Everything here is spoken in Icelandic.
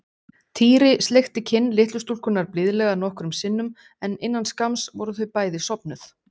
Týri sleikti kinn litlu stúlkunnar blíðlega nokkrum sinnum en innan skamms voru þau bæði sofnuð.